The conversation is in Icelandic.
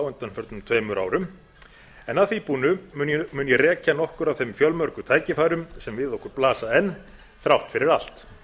undanförnum tveimur árum en að því búnu mun ég reka nokkur af þeim fjölmörgu tækifærum sem við okkur blasa enn þrátt fyrir allt